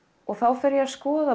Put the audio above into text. þá fer ég að skoða